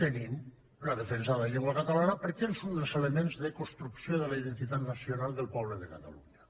tenim la defensa de la llengua catalana perquè és un dels elements de construcció de la identitat nacional del poble de catalunya